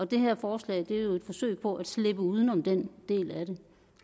det her forslag er jo et forsøg på at slippe uden om den del af det